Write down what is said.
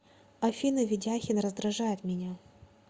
афина ведяхин раздражает меня